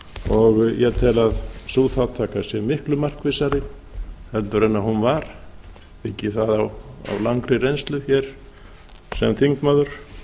og ég tel að sú þátttaka sé miklu markvissari en hún var byggi ég það á langri reynslu hér sem þingmaður